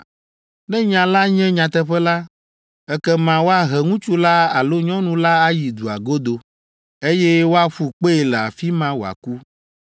Ne nya la nye nyateƒe la, ekema woahe ŋutsu la alo nyɔnu la ayi dua godo, eye woaƒu kpee le afi ma wòaku.